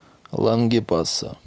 лангепаса